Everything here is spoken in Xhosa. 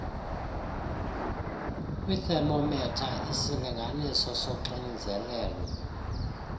kwiithemometha isilinganiso soxinzelelo